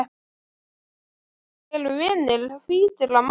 Ekki þegar þeir eru vinir hvítra manna.